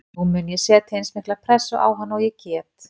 Nú mun ég setja eins mikla pressu á hann og ég get.